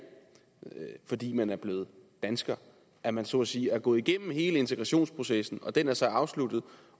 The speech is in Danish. fordi man er blevet dansker at man så at sige er gået igennem hele integrationsprocessen og den er så afsluttet